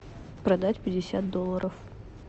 продать пятьдесят долларов